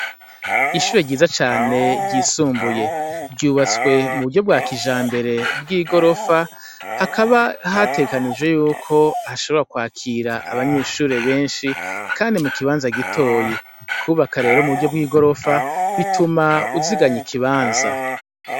Ishure ryiza cane ry'isumbuye ryubatswe muburyo bwakijambere bw igorofa, hakaba hategekanijwe yuko hashobora kwakir' abanyeshure benshi kandi mu kibanza gitoyi, kubaka rero muburyo bwigorofa bitum' uzigany' ikibanza.